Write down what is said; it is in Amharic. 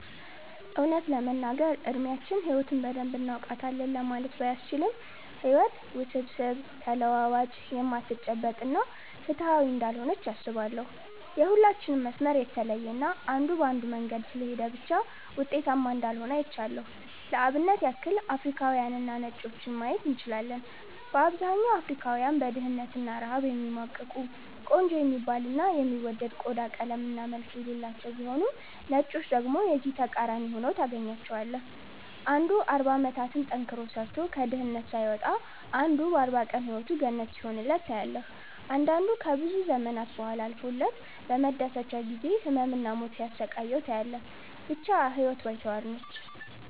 እውነት ለመናገር እድሚያችን ህይወትን በደንብ እናውቃታለን ለማለት ባያስችልም ህይወት ውስብስብ፣ ተለዋዋጭ፣ የማትጨበጥ እና ፍትሃዊ እንዳልሆነች አስባለው። የሁላችንም መስመር የተለየ እና አንዱ በአንዱ መንገድ ስለሄደ ብቻ ውጤታማ እንዳልሆነ አይቻለው። ለአብነት ያክል አፍሪካውያንንና ነጮችን ማየት እንችላለን። በአብዛኛው አፍሪካውያን በድህነት እና ረሃብ የሚማቅቁ፤ ቆንጆ የሚባል እና የሚወደድ ቆዳ ቀለም እና መልክ የሌላቸው ቢሆኑም ነጮችን ደግሞ የዚህ ተቃራኒ ሁነው ታገኛቸዋለህ። አንዱ 40 አመታትን ጠንክሮ ሰርቶ ከድህነት ሳይወጣ አንዱ በ 40 ቀን ህይወቱ ገነት ሲሆንለት ታያለህ። አንዳንዱ ከብዙ ዘመናት ቡሃላ አልፎለት በመደሰቻው ጊዜ ህመም እና ሞት ሲያሰቃየው ታያለህ። ብቻ ህይወት ባይተዋር ነች።